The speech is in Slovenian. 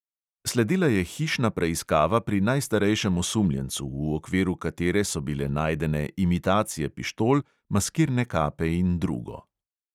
Sledila je hišna preiskava pri najstarejšem osumljencu, v okviru katere so bile najdene imitacije pištol, maskirne kape in drugo.